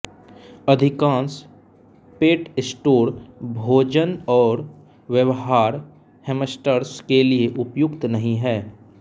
अधिकांश पेटस्टोर भोजन और व्यवहार हैम्स्टर्स के लिए उपयुक्त नहीं हैं